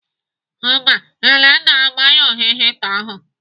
Mba, Elenna agbanyụghị hita ahu.